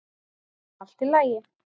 Allt í lagi.